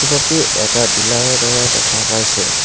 Photocopy এটা dealer ৰ দৰে দেখা পাইছোঁ।